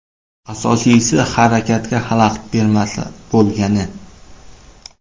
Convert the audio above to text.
Asosiysi, harakatga xalaqit bermasa bo‘lgani.